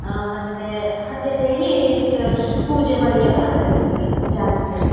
ಆಂ ಮತ್ತೆ ಹಂಗೆ ಅಂತ್ ಹೇಳಿ ಇದ ಪೂಜೆ ಮಾಡಕ್ಕೆ ಎಲ್ಲ ಬಂದವೆ ಇಲ್ಲಿ ಜಾಸ್ತಿ ಜನ.